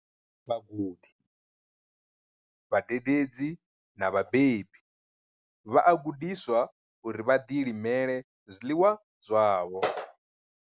Vhagudi, vhadededzi na vhabebi vha a gudiswa uri vha ḓilimele zwiḽiwa zwavho.